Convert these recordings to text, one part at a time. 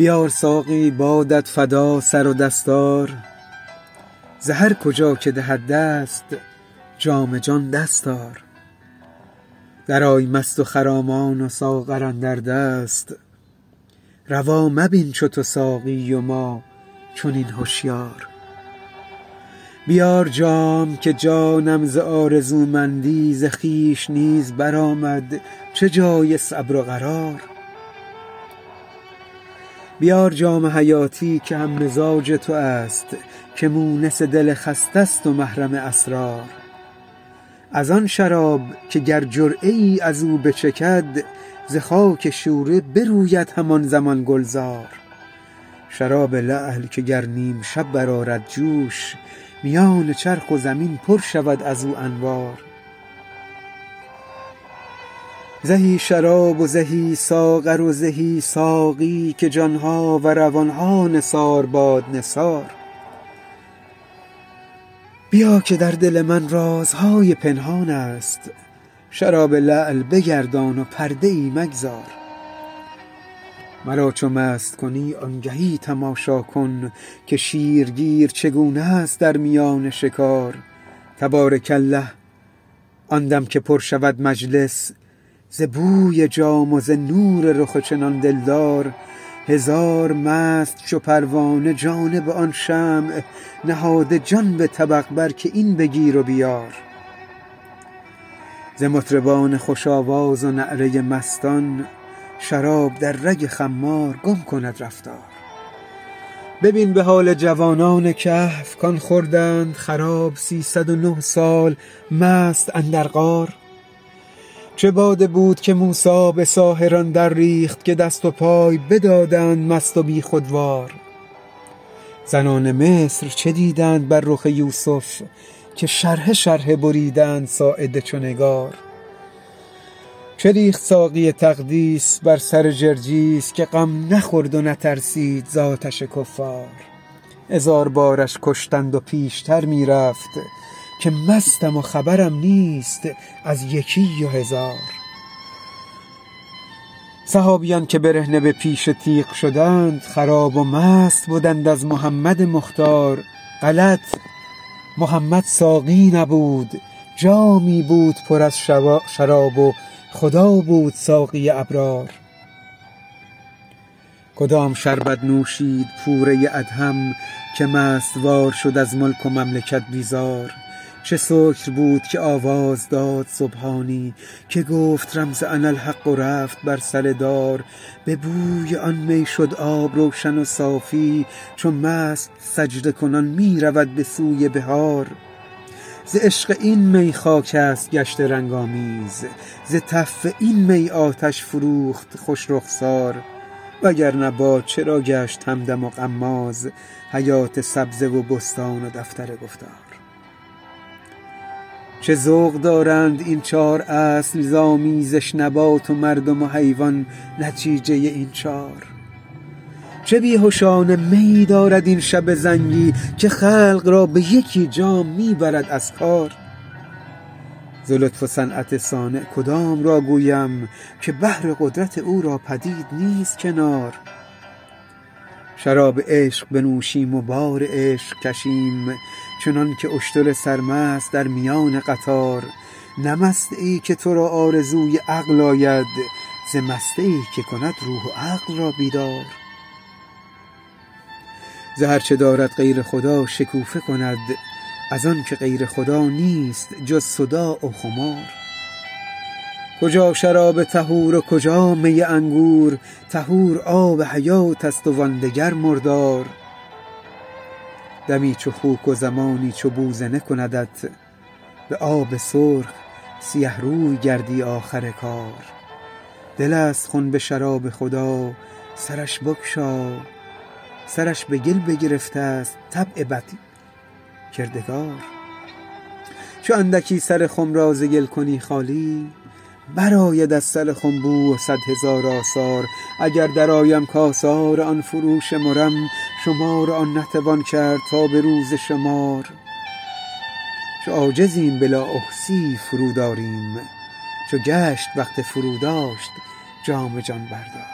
بیار ساقی بادت فدا سر و دستار ز هر کجا که دهد دست جام جان دست آر درآی مست و خرامان و ساغر اندر دست روا مبین چو تو ساقی و ما چنین هشیار بیار جام که جانم ز آرزومندی ز خویش نیز برآمد چه جای صبر و قرار بیار جام حیاتی که هم مزاج توست که مونس دل خسته ست و محرم اسرار از آن شراب که گر جرعه ای از او بچکد ز خاک شوره بروید همان زمان گلزار شراب لعل که گر نیم شب برآرد جوش میان چرخ و زمین پر شود از او انوار زهی شراب و زهی ساغر و زهی ساقی که جان ها و روان ها نثار باد نثار بیا که در دل من رازهای پنهانست شراب لعل بگردان و پرده ای مگذار مرا چو مست کنی آنگهی تماشا کن که شیرگیر چگونست در میان شکار تبارک الله آن دم که پر شود مجلس ز بوی جام و ز نور رخ چنان دلدار هزار مست چو پروانه جانب آن شمع نهاده جان به طبق بر که این بگیر و بیار ز مطربان خوش آواز و نعره مستان شراب در رگ خمار گم کند رفتار ببین به حال جوانان کهف کان خوردند خراب سیصد و نه سال مست اندر غار چه باده بود که موسی به ساحران درریخت که دست و پای بدادند مست و بیخودوار زنان مصر چه دیدند بر رخ یوسف که شرحه شرحه بریدند ساعد چو نگار چه ریخت ساقی تقدیس بر سر جرجیس که غم نخورد و نترسید ز آتش کفار هزار بارش کشتند و پیشتر می رفت که مستم و خبرم نیست از یکی و هزار صحابیان که برهنه به پیش تیغ شدند خراب و مست بدند از محمد مختار غلط محمد ساقی نبود جامی بود پر از شراب و خدا بود ساقی ابرار کدام شربت نوشید پوره ادهم که مست وار شد از ملک و مملکت بیزار چه سکر بود که آواز داد سبحانی که گفت رمز اناالحق و رفت بر سر دار به بوی آن می شد آب روشن و صافی چو مست سجده کنان می رود به سوی بحار ز عشق این می خاکست گشته رنگ آمیز ز تف این می آتش فروخت خوش رخسار وگر نه باد چرا گشت همدم و غماز حیات سبزه و بستان و دفتر گفتار چه ذوق دارند این چار اصل ز آمیزش نبات و مردم و حیوان نتیجه این چار چه بی هشانه میی دارد این شب زنگی که خلق را به یکی جام می برد از کار ز لطف و صنعت صانع کدام را گویم که بحر قدرت او را پدید نیست کنار شراب عشق بنوشیم و بار عشق کشیم چنانک اشتر سرمست در میان قطار نه مستیی که تو را آرزوی عقل آید ز مستی که کند روح و عقل را بیدار ز هر چه دارد غیر خدا شکوفه کند از آنک غیر خدا نیست جز صداع و خمار کجا شراب طهور و کجا می انگور طهور آب حیاتست و آن دگر مردار دمی چو خوک و زمانی چو بوزنه کندت به آب سرخ سیه روی گردی آخر کار دلست خنب شراب خدا سرش بگشا سرش به گل بگرفتست طبع بدکردار چو اندکی سر خم را ز گل کنی خالی برآید از سر خم بو و صد هزار آثار اگر درآیم کآثار آن فروشمرم شمار آن نتوان کرد تا به روز شمار چو عاجزیم بلا احصیی فرود آریم چو گشت وقت فروداشت جام جان بردار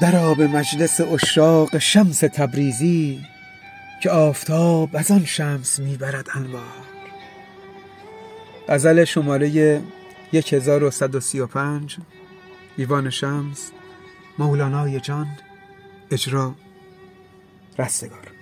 درآ به مجلس عشاق شمس تبریزی که آفتاب از آن شمس می برد انوار